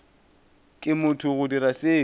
ke motho go dira seo